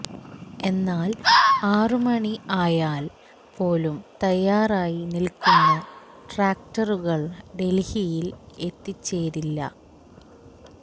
എന്നാൽ ആറുമണി ആയാൽ പോലും തയ്യാറായി നിൽക്കുന്ന ട്രാക്ടറുകൾ ഡൽഹിയിൽ എത്തിച്ചേരില്ല